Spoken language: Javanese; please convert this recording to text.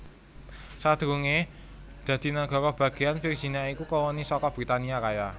Sadurungé dadi nagara bagéyan Virginia iku koloni saka Britania Raya